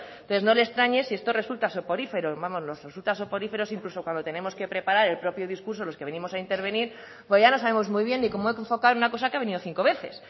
entonces no le extrañe si esto le resulta soporífero vamos nos resulta soporífero incluso cuando tenemos que preparar el propio discurso los que venimos a intervenir porque ya no sabemos muy bien ni cómo enfocar una cosa que ha venido cinco veces